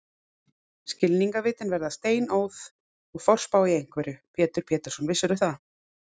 Skilningarvitin verða steinóð og forspá í einveru, Pétur Pétursson, vissirðu það?